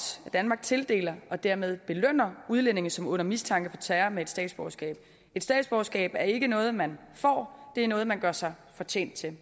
at danmark tildeler og dermed belønner udlændinge som er under mistanke for terror med et statsborgerskab et statsborgerskab er ikke noget man får det er noget man gør sig fortjent til